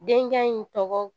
Denkɛ in tɔgɔ